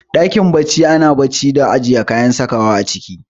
Ɗakin bacci ana bacci da ajiye kayan sakawa a ciki